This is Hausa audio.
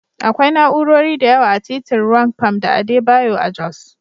Akwai na'urori da yawa a titin Rwang Pam da Adebayo a Jos.